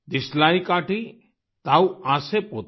दियशलाई काठि ताउ आसे पोते